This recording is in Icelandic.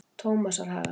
Tómasarhaga